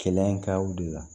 Kɛlɛ in kaw de la